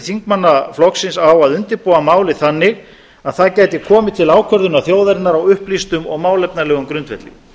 þingmanna flokksins á að undirbúa málið þannig að það gæti komið til ákvörðunar þjóðarinnar á upplýstum og málefnalegum grundvelli